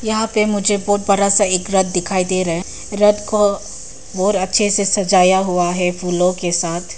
यहां पे मुझे बहुत बड़ा सा एक रथ दिखाई दे रहा है रथ को और अच्छे से सजाया हुआ है फूलों के साथ।